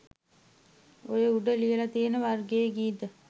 ඔය උඩ ලියලා තියෙන වර්ගයේ ගීත